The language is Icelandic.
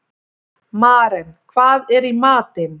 Maren, hvað er í matinn?